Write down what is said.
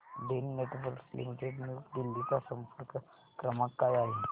Den networks limited new Delhi चा संपर्क क्रमांक काय आहे